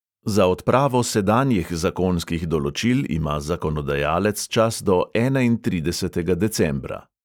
Za odpravo sedanjih zakonskih določil ima zakonodajalec čas do enaintridesetega decembra.